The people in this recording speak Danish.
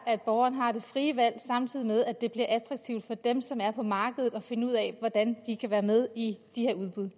at borgeren har det frie valg samtidig med at det bliver attraktivt for dem som er på markedet at finde ud af hvordan de kan være med i de her udbud